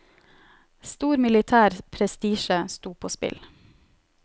Stor militær prestisje sto på spill.